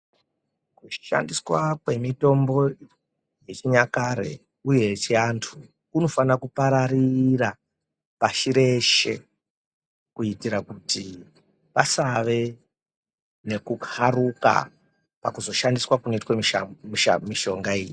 Kushandiswa kwemitombo yechinyakare uye yechiantu kunofana kupararira pashi reshe Kuitira kuti pasave nekukaruka pakuzoshandiswa kunoita mishonga iyi.